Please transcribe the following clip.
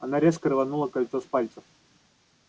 она резко рванула кольцо с пальца